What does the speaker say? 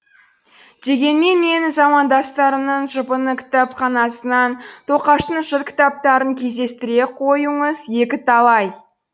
дегенмен менің замандастарымның жұпыны кітапханасынан тоқаштың жыр кітаптарын кездестіре қоюыңыз екіталай